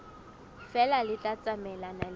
feela le tla tsamaelana le